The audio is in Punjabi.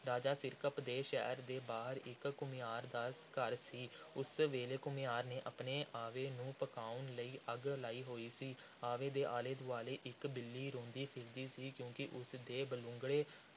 ਰਾਜਾ ਸਿਰਕੱਪ ਦੇ ਸ਼ਹਿਰ ਦੇ ਬਾਹਰ ਇਕ ਘੁਮਿਆਰ ਦਾ ਘਰ ਸੀ। ਉਸ ਵੇਲੇ ਘੁਮਿਆਰ ਨੇ ਆਪਣੇ ਆਵੇ ਨੂੰ ਪਕਾਉਣ ਲਈ ਅੱਗ ਲਾਈ ਸੀ। ਆਵੇ ਦੇ ਆਲੇ – ਦੁਆਲੇ ਇਕ ਬਿੱਲੀ ਰੋਂਦੀ ਫਿਰਦੀ ਸੀ ਕਿਉਂਕਿ ਉਸ ਦੇ ਬਲੂੰਗੜੇ